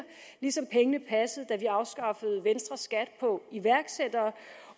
ligesom pengene passede da vi afskaffede venstres skat på iværksættere